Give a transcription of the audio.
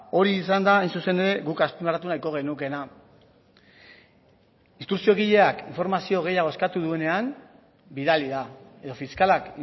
hori izan da hain zuzen ere guk azpimarratu nahiko genukeena instrukziogileak informazio gehiago eskatu duenean bidali da edo fiskalak